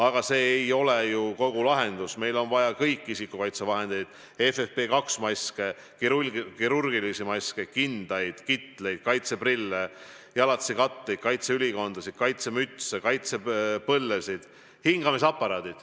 Aga see ei ole ju kogu lahendus, meil on vaja kõiki isikukaitsevahendeid, FFP2-maske, kirurgilisi maske, kindaid, kitleid, kaitseprille, jalatsikatteid, kaitseülikondasid, kaitsemütse, kaitsepõllesid.